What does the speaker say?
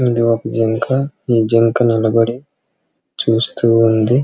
ఇది ఒక జింక ఈ జింక నిలబడి చూస్తూ ఉంది .